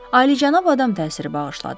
Alicənab adam təsiri bağışladı.